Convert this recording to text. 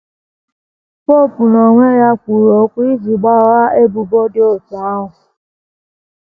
Popu n’onwe ya kwuru okwu iji gbaghaa ebubo dị otú ahụ.